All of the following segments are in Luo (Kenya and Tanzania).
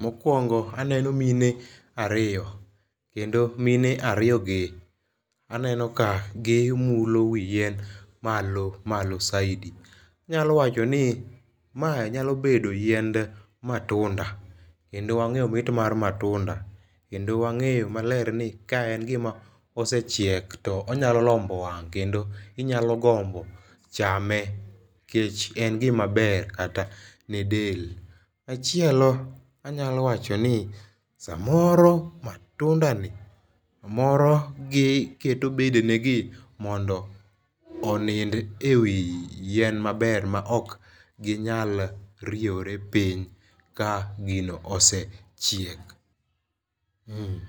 Mokuongo aneno mine ariyo kendo mine ariyo gi aneno ka gimulo wi yien malo malo saidi. Anyalo wacho ni ma nyalo bedo ni ma yiend matunda kendo wange mit mar matunda kendo wang'e ni ka en gima osechiek tonyalo lombo wang kendo ionyalo gombo chame kech en gima ber kata ne del. Machielo anyalo wacho ni samoro matunda ni moro giketo bedene gi mondo onind ewi tyien maber ma ok ginyal riewore piny ka gino osechiek.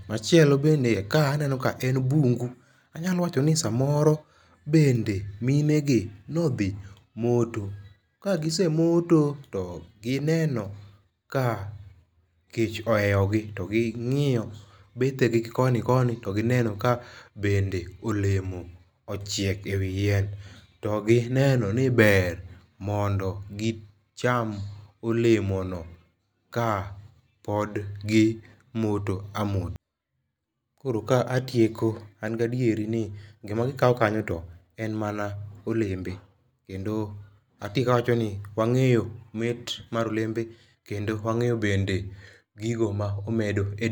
Machielo bende ka aneno ka en bungu anyalo wacho ni samoro bende mine gi nodhi moto ka gisemoto to gineno ka kech ohewogi to ging'iyo bethe gi koni koni to gineno ka bendeolemo ochiek e wii yien to gineno ni ber mondo gicham olemo no ka pod gimoto amota. Koro ka atieko an gi adiera gima gikawo kanyo en mana olembe kendo atieko kawacho ni wang'eyo mit mar olembe kendo wang'eyo bende gino ma omedo e del.